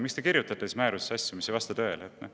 Miks te kirjutate siis määrusesse asju, mis ei vasta tõele?